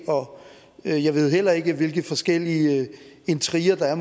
og jeg ved heller ikke hvilke forskellige intriger der er